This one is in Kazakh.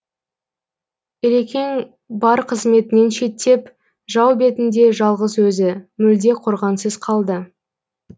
ілекең бар қызметінен шеттеп жау бетінде жалғыз өзі мүлде қорғансыз қалды